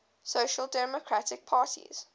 social democratic parties